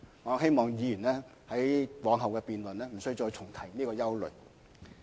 我希望議員往後辯論時，無須重提這種憂慮。